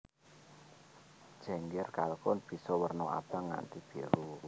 Jengger kalkun bisa werna abang nganti biru